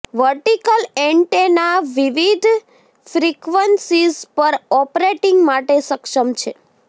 vertical antenna વિવિધ frequencies પર operating માટે સક્ષમ છે